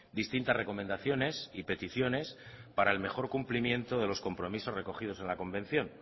distintas recomendaciones y peticiones para el mejor cumplimiento de los compromisos recogidos en la convención